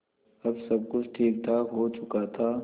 अब सब कुछ ठीकठाक हो चुका था